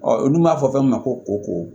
Ɔ olu b'a fɔ fɛn min ma ko ko